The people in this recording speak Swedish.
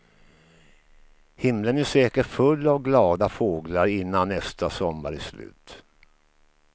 Himlen är säkert full av glada fåglar innan nästa sommar är slut.